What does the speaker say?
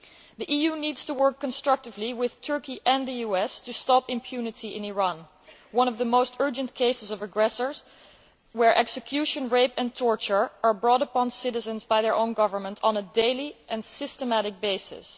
The EU needs to work constructively with Turkey and the US to stop impunity in Iran, which is one of the most urgent cases of aggressors and where execution, rape and torture are brought upon citizens by their own government on a daily and systematic basis.